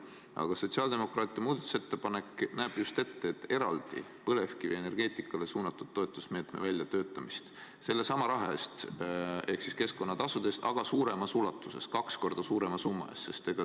Aga sotsiaaldemokraatide muudatusettepanek näeb just ette eraldi põlevkivienergeetikale suunatud toetusmeetme väljatöötamise sellesama raha ehk keskkonnatasude eest, aga suuremas ulatuses, kaks korda suurema summa eest.